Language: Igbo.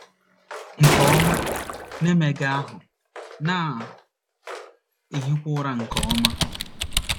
nke ọma, na - emega ahụ́, na - ehikwa ụra nke ọma